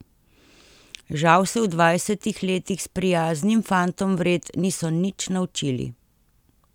Žal se v dvajsetih letih s prijaznim fantom vred niso nič naučili.